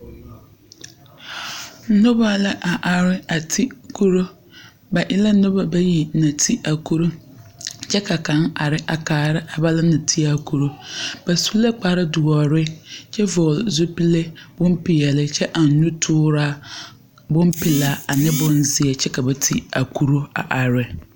Noba la a are a ti kuro. Ba e la noba bayi naŋ ti a kuro, kyɛ ka kaŋ a are a kaara a balan naŋ ti a kuro. Ba su la kparedoɔre, kyɛ vɔgle zupile bompeɛle kyɛ eŋ nutooraa bompelaa ane bonzeɛ kyɛ ka ba ti a kuro a are.